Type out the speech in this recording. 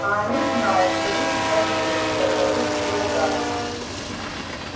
а они знают что вы сейчас здесь полюбопытствовал гарри